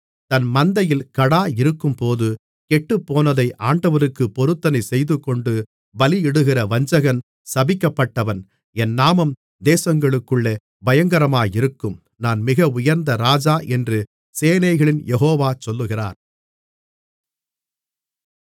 தன் மந்தையில் கடா இருக்கும்போது கெட்டுப்போனதை ஆண்டவருக்கு பொருத்தனை செய்துகொண்டு பலியிடுகிற வஞ்சகன் சபிக்கப்பட்டவன் என் நாமம் தேசங்களுக்குள்ளே பயங்கரமாயிருக்கும் நான் மிக உயர்ந்த ராஜா என்று சேனைகளின் யெகோவா சொல்லுகிறார்